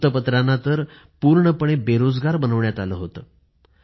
वृत्तपत्रांना तर पूर्णपणे बेरोजगार बनवण्यात आलं होतं